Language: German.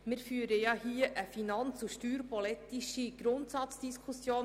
Wir führen hier eine finanz- und steuerpolitische Grundsatzdiskussion.